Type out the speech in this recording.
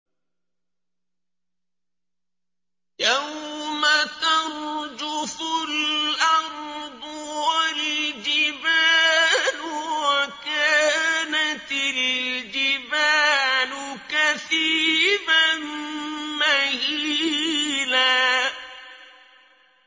يَوْمَ تَرْجُفُ الْأَرْضُ وَالْجِبَالُ وَكَانَتِ الْجِبَالُ كَثِيبًا مَّهِيلًا